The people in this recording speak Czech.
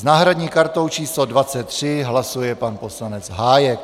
S náhradní kartou číslo 23 hlasuje pan poslanec Hájek.